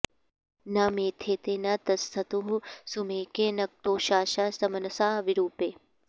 न मे॑थेते॒ न त॑स्थतुः सु॒मेके॒ नक्तो॒षासा॒ सम॑नसा॒ विरू॑पे